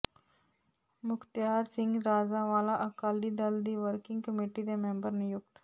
ਮੁਖਤਿਆਰ ਸਿੰਘ ਰਾਜਾਂਵਾਲਾ ਅਕਾਲੀ ਦਲ ਦੀ working committee ਦੇ member ਨਿਯੁਕਤ